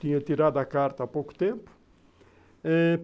Tinha tirado a carta há pouco tempo eh...